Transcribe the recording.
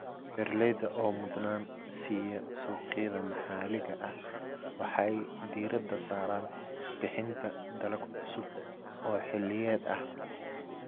Beeralayda oo mudnaan siiya suuqyada maxalliga ah waxay diiradda saaraan bixinta dalag cusub oo xilliyeed ah.